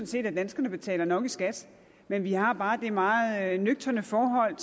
set at danskerne betaler nok i skat men vi har bare det meget nøgterne forhold